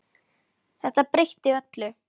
Þetta breytti öllu.